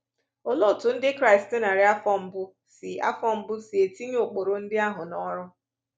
Olee otú Ndị Kraịst narị afọ mbụ si afọ mbụ si tinye ụkpụrụ ndị ahụ n’ọrụ?